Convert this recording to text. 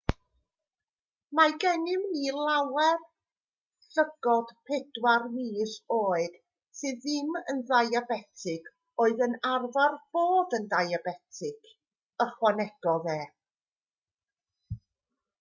mae gennym ni nawr lygod pedwar mis oed sydd ddim yn ddiabetig oedd yn arfer bod yn ddiabetig ychwanegodd e